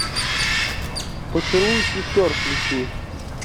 поцелуй сестер включи